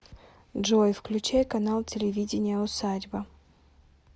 джой включай канал телевидения усадьба